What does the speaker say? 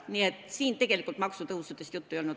Nii et siin tegelikult maksutõusudest juttu ei olnud.